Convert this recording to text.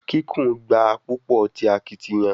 Kikun gba a pupo ti akitiyan